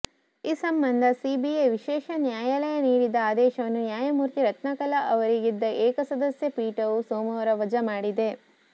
ಈ ಸಂಬಂಧ ಸಿಬಿಐ ವಿಶೇಷ ನ್ಯಾಯಾಲಯ ನೀಡಿದ್ದ ಆದೇಶವನ್ನು ನ್ಯಾಯಮೂರ್ತಿ ರತ್ನಕಲಾ ಅವರಿದ್ದ ಏಕಸದಸ್ಯ ಪೀಠವು ಸೋಮವಾರ ವಜಾ ಮಾಡಿದೆ